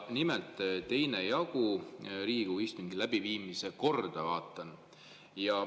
Nimelt, vaatan 2. jagu Riigikogu istungi läbiviimise korra kohta.